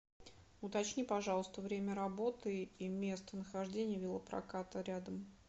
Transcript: уточни пожалуйста время работы и местонахождение велопроката рядом